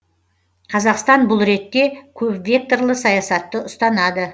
қазақстан бұл ретте көпвекторлы саясатты ұстанады